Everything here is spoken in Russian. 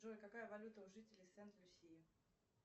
джой какая валюта у жителей сент люсии